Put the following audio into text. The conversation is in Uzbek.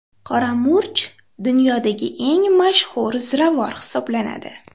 Qora murch dunyodagi eng mashhur ziravor hisoblanadi.